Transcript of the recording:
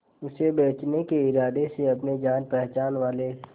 उसे बचने के इरादे से अपने जान पहचान वाले